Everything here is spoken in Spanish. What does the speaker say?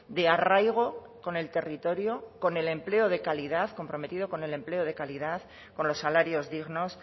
de arraigo con el territorio con el empleo de calidad comprometido con el empleo de calidad con los salarios dignos